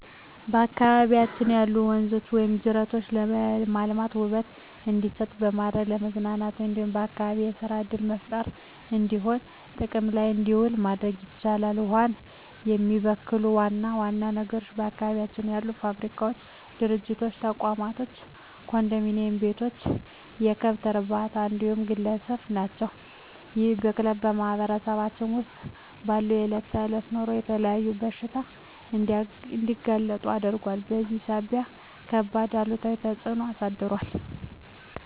በአካባቢያችን ያሉ ወንዞች ወይም ጅረቶችን በማልማት ውበት እንዲሰጡ በማድረግ ለመዝናኛ እንዲሁም ለአካባቢ የሰራ ዕድል መፍጠሪያነት እንዲሆኑ ጥቅም ላይ እንዲውሉ ማድረግ ይቻላል። ውሃውን የሚበክሉ ዋና ዋና ነገሮች በአካባቢያችን ያሉ ፋብሪካዎች፣ ድርጅቶች፣ ተቋማቶች፣ ኮንዶሚኒዬም ቤቶች፣ የከብት እርባታዎች እንዲሁም ግለሰቦች ናቸው። ይህ ብክለት በማህበረሰባችን ውስጥ ባለው የዕለት ተዕለት ኑሮ ላይ ለተለያዩ በሽታዎች እንዲጋለጡ አድርጓል በዚህም ሳቢያ ከባድ አሉታዊ ተፅዕኖ አሳድሯል።